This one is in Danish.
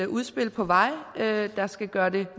udspil på vej der skal gøre det